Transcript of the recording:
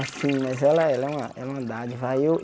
Assim, mas ela é ela é ela é uma dádiva. Aí eu